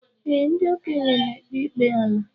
Ee, ndị okenye n'ekpe ikpe ala.